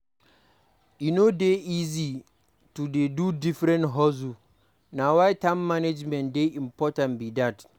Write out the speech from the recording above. E no dey easy to dey do different hustles; na why time management dey important be dat.